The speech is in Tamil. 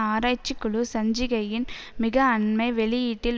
ஆராய்ச்சிக் குழு சஞ்சிகையின் மிக அண்மை வெளியீட்டில்